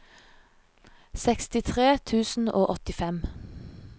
sekstitre tusen og åttifem